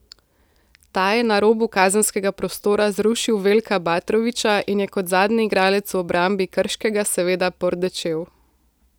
Ta je na robu kazenskega prostora zrušil Veljka Batrovića in je kot zadnji igralec v obrambi Krškega seveda pordečel.